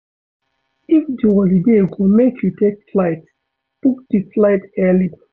If di holiday go make you take flight, book di flight early